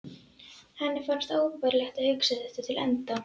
Henni fannst óbærilegt að hugsa þetta til enda.